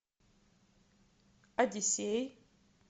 одиссей